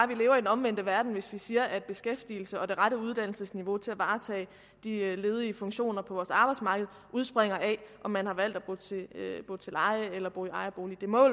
vi lever i den omvendte verden hvis vi siger at beskæftigelse og det rette uddannelsesniveau til at varetage de ledige funktioner på vores arbejdsmarked udspringer af om man har valgt at bo til leje eller bo i ejerbolig det må